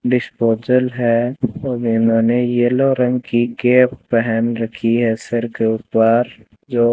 disposal है और इन्होंने येलो रंग की केप पहन रखी है सर के ऊपर जो--